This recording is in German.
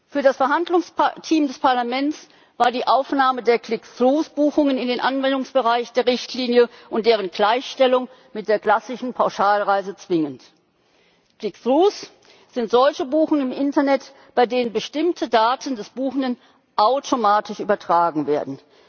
Für das Verhandlungsteam des Parlaments war die Aufnahme der Click through Buchungen in den Anwendungsbereich der Richtlinie und deren Gleichstellung mit der klassischen Pauschalreise zwingend. Die Click through Buchungen sind solche Buchungen im Internet, bei denen bestimmte Daten des Buchenden automatisch übertragen werden.